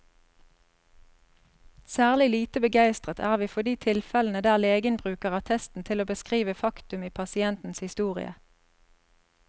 Særlig lite begeistret er vi for de tilfellene der legen bruker attesten til å beskrive faktum i pasientens historie.